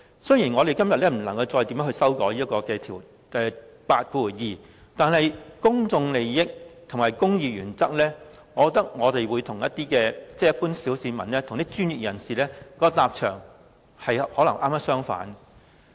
雖然我們今天不能再修改第82條，但以公眾利益和公義原則來說，我認為一般小市民與專業人士的立場可能剛好相反。